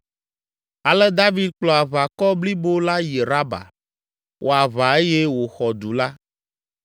Ale David kplɔ aʋakɔ blibo la yi Raba, wɔ aʋa eye wòxɔ du la.